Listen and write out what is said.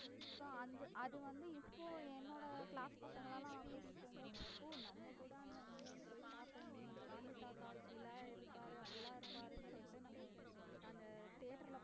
so அது அது வந்து இப்போ என்னோட class பசங்களலாம் கூட்டிட்டு போகும் போது ஓ நம்ம கூட அந்த movie போய் பாத்தோமே காந்தி தாத்தா இப்படிலாம் இருப்பாரு அப்படிலாம் இருப்பாரு சொல்லிட்டு நம்ம அந்த theatre ல